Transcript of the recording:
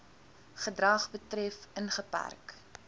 gedrag betref ingeperk